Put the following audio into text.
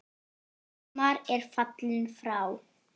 Hallmar er fallinn frá.